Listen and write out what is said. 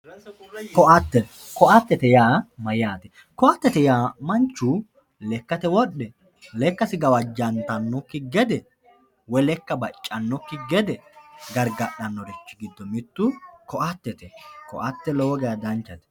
ko"ate ko"atete yaa mayaate ko"atete yaa manchu lekkate wodhe lekkasi gawajjantanokki gede woy lekka baccannokki gede gargadhanorichi giddo mittu ko"atete ko"ate lowo geya danchate.